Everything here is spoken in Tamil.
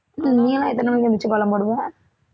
நீயெல்லாம் எத்தனை மணிக்கு எழுந்திருச்சு கோலம் போடுவ